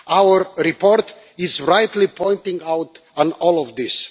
Our report is rightly pointing out all of this.